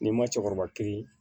N'i ma cɛkɔrɔba kiiri